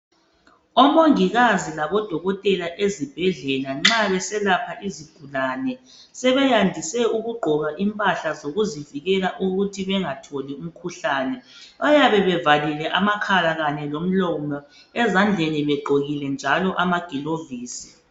Omongikazi labodokotela ezibhedlela nxa beselapha izigulane sebeyandise ukugqokw impahla ezivikela ukuthi bengatholi imkhuhlane bayabe bevalile amakhala kanye lomlomo ezandleni begqokilenjalo amagilovisi